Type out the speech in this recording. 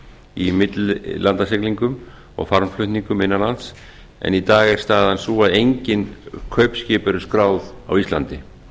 í millilandasiglingum og farmflutningum innanlands en í dag er staðan sú að engin kaupskip eru skráð á íslandi